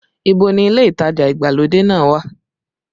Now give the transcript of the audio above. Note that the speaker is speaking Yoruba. Ìbò ni ilé ìtajà ìgbàlódé náà wà?